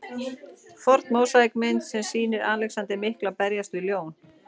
Forn mósaíkmynd sem sýnir Alexander mikla berjast við ljón.